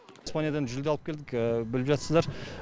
испаниядан жүлде алып келдік біліп жатсыздар